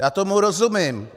Já tomu rozumím.